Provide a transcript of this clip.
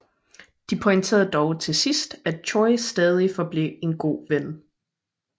De pointerede dog til sidst at Choy stadig forblev en god ven